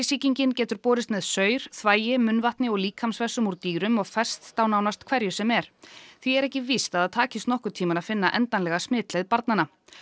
sýkingin getur borist með saur þvagi munnvatni og líkamsvessum úr dýrum og fest á nánast hverju sem er því er ekki víst að það takist nokkurn tímann að finna endanlega smitleið barnanna